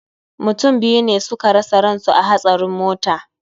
Mutum biyu ne suka rasa ransu a hatsarin mota